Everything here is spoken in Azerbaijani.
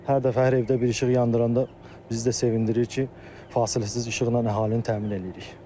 Hər dəfə hər evdə bir işıq yandıranda bizdə sevindirir ki, fasiləsiz işıqla əhalini təmin eləyirik.